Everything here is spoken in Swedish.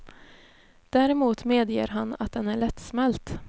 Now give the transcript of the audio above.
Däremot medger han att den är lättsmält.